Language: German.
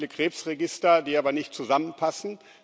Wir haben viele Krebsregister, die aber nicht zusammenpassen.